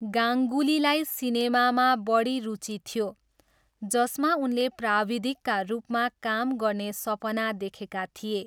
गाङ्गुलीलाई सिनेमामा बढी रुचि थियो, जसमा उनले प्राविधिकका रूपमा काम गर्ने सपना देखेका थिए।